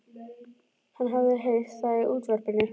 Hann hafði heyrt það í útvarpinu.